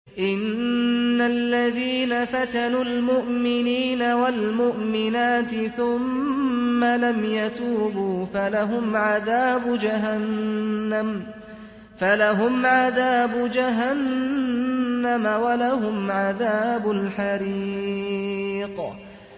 إِنَّ الَّذِينَ فَتَنُوا الْمُؤْمِنِينَ وَالْمُؤْمِنَاتِ ثُمَّ لَمْ يَتُوبُوا فَلَهُمْ عَذَابُ جَهَنَّمَ وَلَهُمْ عَذَابُ الْحَرِيقِ